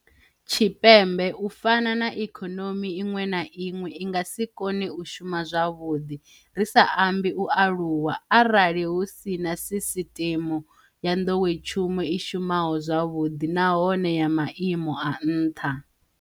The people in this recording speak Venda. Tshipembe, u fana na ikonomi iṅwe na iṅwe, i nga si kone u shuma zwavhuḓi, ri sa ambi u aluwa, arali hu si na sisiṱeme ya nḓowetshumo i shumaho zwavhuḓi nahone ya maimo a nṱha.